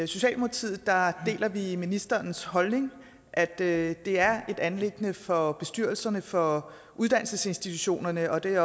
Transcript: socialdemokratiet deler vi ministerens holdning at det er et anliggende for bestyrelserne for uddannelsesinstitutionerne og det